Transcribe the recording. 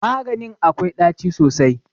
Maganin akwai ɗaci sosai.